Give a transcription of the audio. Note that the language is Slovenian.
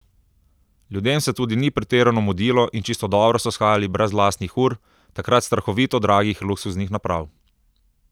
Ljudem se tudi ni pretirano mudilo in čisto dobro so shajali brez lastnih ur, takrat strahovito dragih luksuznih naprav.